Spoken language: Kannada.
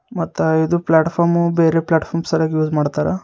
ಮತ್ತ ಇದು ಪ್ಲಾಟ್ಫಾರ್ಮ್ ಬೇರೆ ಪ್ಲಾಟ್ಫಾರ್ಮ್ ಸಲಗ್ ಯೂಸ್ ಮಾಡ್ತಾರಾ.